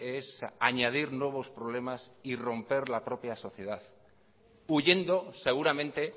es añadir nuevos problemas y romper la propia sociedad huyendo seguramente